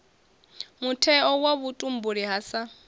mutheo wa vhutumbuli ha sa